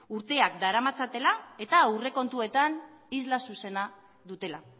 urteak daramatzatela eta aurrekontuetan isla zuzena dutela